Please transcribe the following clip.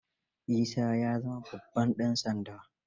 Isa ya zama babban ɗan sanda.